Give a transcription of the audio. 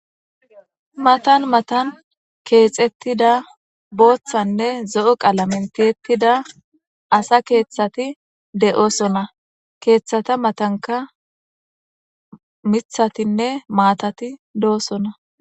matan matan keexettida booththanne zo7o qalamenteettida asa keeththati de7osona keeththata matanka mithatinne maatati do7osona